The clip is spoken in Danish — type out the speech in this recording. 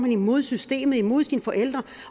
imod systemet imod sine forældre